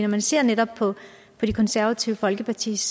man ser netop på det konservative folkepartis